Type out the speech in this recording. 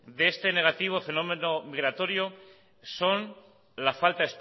de este negativo fenómeno migratorio son la falta